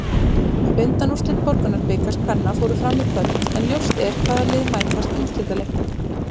Undanúrslit Borgunarbikars kvenna fóru fram í kvöld, en ljóst er hvaða lið mætast í úrslitaleiknum.